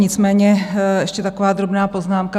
Nicméně ještě taková drobná poznámka.